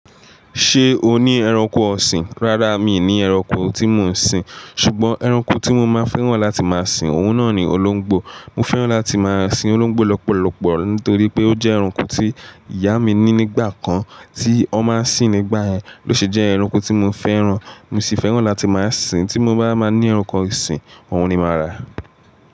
Ṣé o ní ẹranko ọ̀sìn? Rárá, mi ò ní ẹranko tí mo ń sìn. Ṣùgbọ́n ẹranko tí mo máa fẹ́ran láti máa sìn, òun náà ni olóńgbò. Mò fẹ́ràn láti máa sìn olóńgbò lọ́pọ̀lọpọ̀ nítorí pé ó jẹ́ ẹranko tí ìyá mi ní nígbà kan tí ọ má ń sìn nígbà yẹn. Lo ṣe jẹ́ ẹranko tí mo fẹ́ràn. Mo sì fẹ́ràn láti máa sìn. Tí mo bá máa ní ẹranko ìsìn, òun ni màá rà.